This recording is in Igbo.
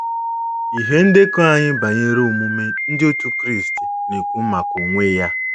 Ihe ndekọ anyị banyere omume Ndị Otú Kristi na-ekwu maka onwe ya.